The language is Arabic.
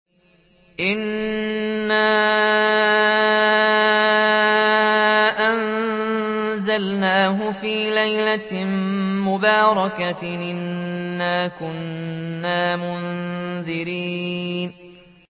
إِنَّا أَنزَلْنَاهُ فِي لَيْلَةٍ مُّبَارَكَةٍ ۚ إِنَّا كُنَّا مُنذِرِينَ